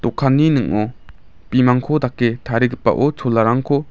ning·o bimangko dake tarigipao cholarangko--